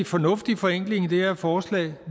fornuftig forenkling i det her forslag